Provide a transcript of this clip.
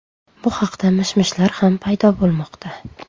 Bu haqda mish-mishlar ham paydo bo‘lmoqda.